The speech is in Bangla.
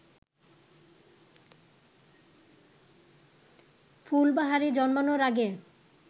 ফুলবাহারি জন্মানোর আগে